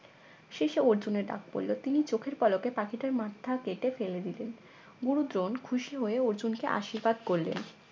শেষে অর্জুনের ডাক পড়লো তিনি চোখের পলকে পাখিটার মাথা কেটে ফেলে দিলেন গুরু দ্রোন খুশি হয়ে অর্জুনকে আশীর্বাদ করলেন